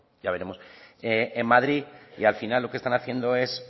ya veremos en madrid y al final lo que están haciendo son